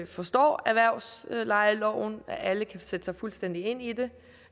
forstår erhvervslejeloven at alle kan sætte sig fuldstændig ind i den